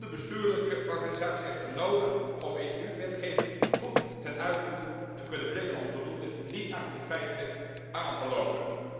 Een goede bestuurlijke organisatie is echter nodig om EU wetgeving goed ten uitvoer te kunnen brengen, om zodoende niet achter de feiten aan te lopen.